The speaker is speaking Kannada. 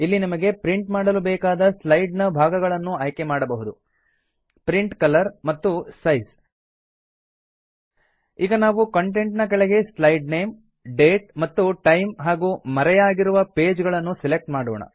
ಇಲ್ಲಿ ನಿಮಗೆ ಪ್ರಿಂಟ್ ಮಾಡಲು ಬೇಕಾದ ಸ್ಲೈಡ್ ನ ಭಾಗಗಳನ್ನು ಆಯ್ಕೆ ಮಾಡಬಹುದು ಪ್ರಿಂಟ್ ಕಲರ್ ಮತ್ತು ಸೈಜ್ ಈಗ ನಾವು ಕಂಟೆಂಟ್ ನ ಕೆಳಗೆ ಸ್ಲೈಡ್ ನೇಮ್ ಡೇಟ್ ಮತ್ತು ಟೈಮ್ ಹಾಗೂ ಮರೆಯಾಗಿರುವ ಪೇಜ್ ಗಳನ್ನು ಸೆಲೆಕ್ಟ್ ಮಾಡೋಣ